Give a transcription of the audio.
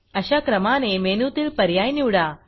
अशा क्रमाने मेनूतील पर्याय निवडा